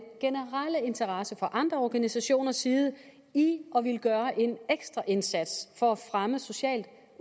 generelle interesse fra andre organisationers side i at ville gøre en ekstra indsats for at fremme socialt